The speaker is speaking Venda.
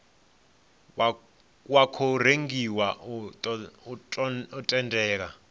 wa tou rengiwa u tendela